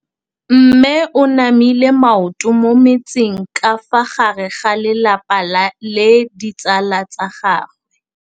Mme o namile maoto mo mmetseng ka fa gare ga lelapa le ditsala tsa gagwe.